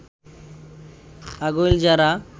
Agailjhara